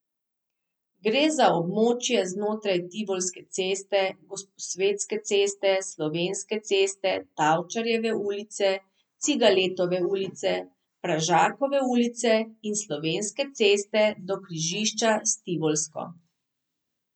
Gre za območje znotraj Tivolske ceste, Gosposvetske ceste, Slovenske ceste, Tavčarjeve ulice, Cigaletove ulice, Pražakove ulice in Slovenske ceste do križišča s Tivolsko.